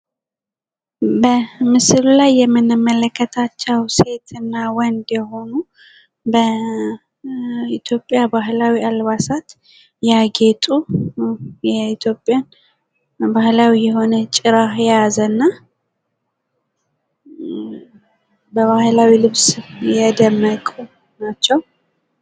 በምስሉ ላይ የምንመለከታቸው ሴት እና ወንድ የሆኑ በኢትዮጵያ ባህላዊ አልባሳት የኢትዮጵያን ባህላዊ ጭራን የያዘ እና በባህላዊ ልብስ የደመቁ ናቸው።